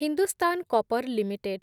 Hindustan copper limited